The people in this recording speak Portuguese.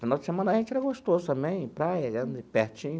Final de semana para a gente era gostoso também, praia, era ali pertinho.